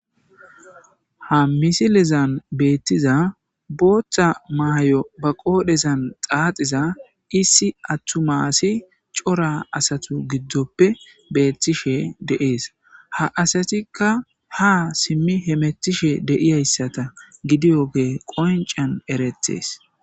ha misilezan beettiza booththa maay7o ba qoodhezan xaaxiza issi attu maasi cora asatu giddoppe beettishe deees ha asatikka ha simmi hemetishe deiyayssata gidiyoge qoncan eretes